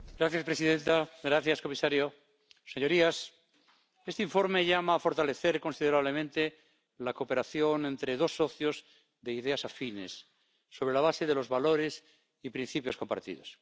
Señora presidenta, señor comisario, señorías, este informe llama a fortalecer considerablemente la cooperación entre dos socios de ideas afines, sobre la base de los valores y principios compartidos.